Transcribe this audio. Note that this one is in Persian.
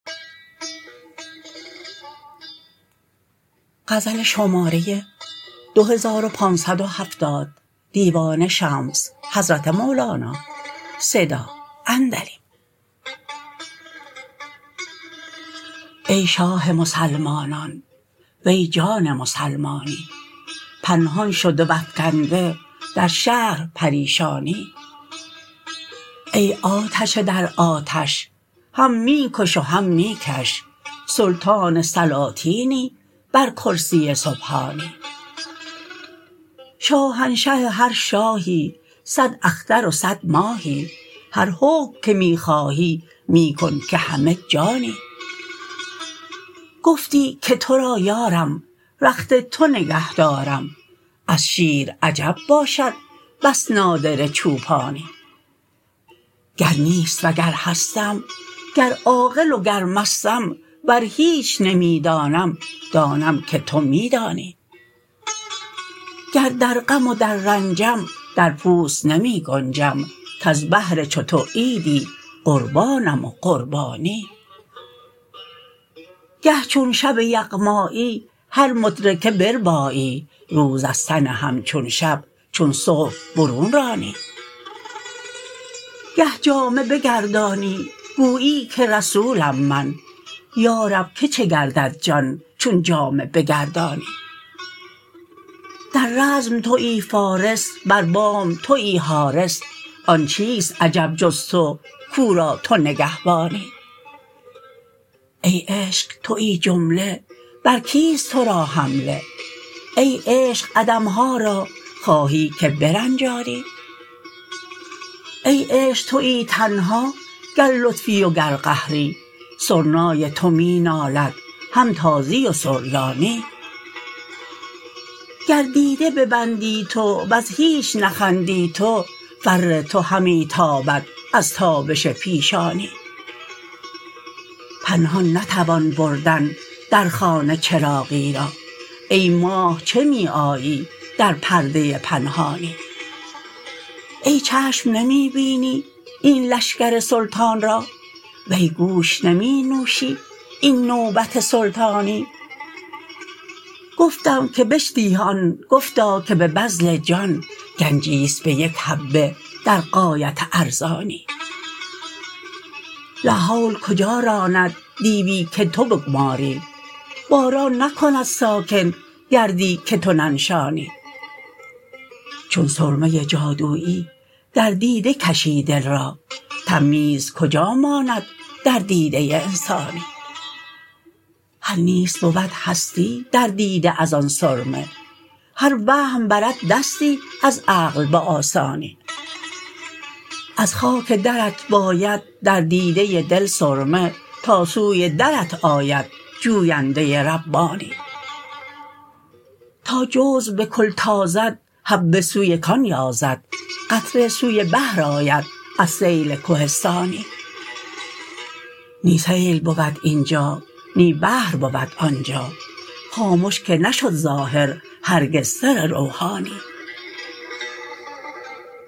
ای شاه مسلمانان وی جان مسلمانی پنهان شده و افکنده در شهر پریشانی ای آتش در آتش هم می کش و هم می کش سلطان سلاطینی بر کرسی سبحانی شاهنشه هر شاهی صد اختر و صد ماهی هر حکم که می خواهی می کن که همه جانی گفتی که تو را یارم رخت تو نگهدارم از شیر عجب باشد بس نادره چوپانی گر نیست و گر هستم گر عاقل و گر مستم ور هیچ نمی دانم دانم که تو می دانی گر در غم و در رنجم در پوست نمی گنجم کز بهر چو تو عیدی قربانم و قربانی گه چون شب یغمایی هر مدرکه بربایی روز از تن همچون شب چون صبح برون رانی گه جامه بگردانی گویی که رسولم من یا رب که چه گردد جان چون جامه بگردانی در رزم توی فارس بر بام توی حارس آن چیست عجب جز تو کو را تو نگهبانی ای عشق توی جمله بر کیست تو را حمله ای عشق عدم ها را خواهی که برنجانی ای عشق توی تنها گر لطفی و گر قهری سرنای تو می نالد هم تازی و سریانی گر دیده ببندی تو ور هیچ نخندی تو فر تو همی تابد از تابش پیشانی پنهان نتوان بردن در خانه چراغی را ای ماه چه می آیی در پرده پنهانی ای چشم نمی بینی این لشکر سلطان را وی گوش نمی نوشی این نوبت سلطانی گفتم که به چه دهی آن گفتا که به بذل جان گنجی است به یک حبه در غایت ارزانی لاحول کجا راند دیوی که تو بگماری باران نکند ساکن گردی که تو ننشانی چون سرمه جادویی در دیده کشی دل را تمییز کجا ماند در دیده انسانی هر نیست بود هستی در دیده از آن سرمه هر وهم برد دستی از عقل به آسانی از خاک درت باید در دیده دل سرمه تا سوی درت آید جوینده ربانی تا جزو به کل تازد حبه سوی کان یازد قطره سوی بحر آید از سیل کهستانی نی سیل بود این جا نی بحر بود آن جا خامش که نشد ظاهر هرگز سر روحانی